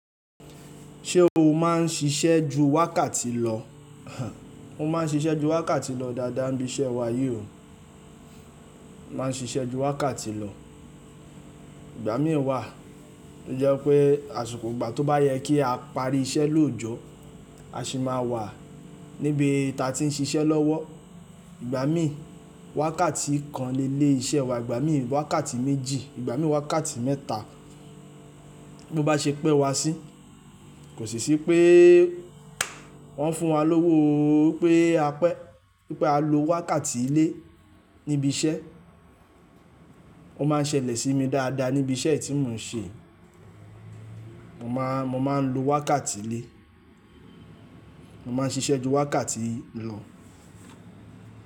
Ṣé o má n ṣiṣẹ́ ju wákàtí lọ? Mo ma n ṣiṣẹ́ ju wákàtí lọ dáadáa níbi iṣẹ́ wa yí ò. Mo ma n ṣiṣẹ́ ju wákàtí lọ. Igbami wà tó jẹ́ pé àsikọ̀ igbà tó bá yẹ kí a parí iṣẹ́ lójọ́, a sì máa wà níbi tí a ti n ṣiṣẹ́ lọ́wọ́. Igbami wákàtí kan lé lé ìṣe wa, igbami wákàtí méjì, ìgbà mí wákàtí mẹ́ta. Bí o bá ṣe pẹ́ wá sí kò sì sí pé wọ́n fún wa lówó ó pé a pẹ́, wípé a lo wákàtí lé níbi iṣẹ́. Ó ma n ṣẹlẹ̀ sí mi dáadáa níbi iṣẹ́ tí mò n ṣe. Mo ma n lo wákàtí lé. Mo ma n ṣiṣẹ́ ju wákàtí lọ.